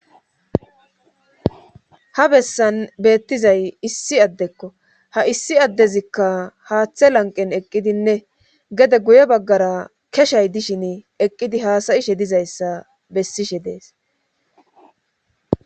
ha bessan beettizay issi addekko ha issi addezikka haaththe lanqen eqqidinne gede guye baggara keshay dishin eqqidi haasayishe dizayssa bessishe dees